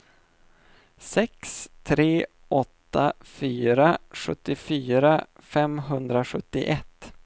sex tre åtta fyra sjuttiofyra femhundrasjuttioett